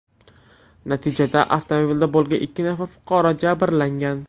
Natijada avtomobilda bo‘lgan ikki nafar fuqaro jabrlangan.